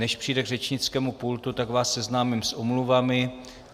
Než přijde k řečnickému pultu, tak vás seznámím s omluvami.